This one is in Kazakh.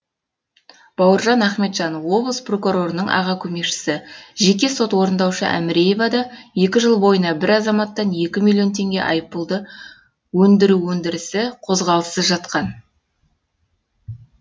бауыржан ахметжан облыс прокурорының аға көмекшісі жеке сот орындаушы әміреева да екі жыл бойына бір азаматтан екі миллион теңге айыппұлды өндіру өндірісі қозғалыссыз жатқан